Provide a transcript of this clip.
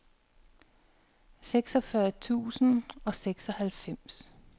seksogfyrre tusind og seksoghalvfems